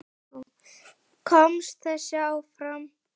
Þau voru alltaf til staðar.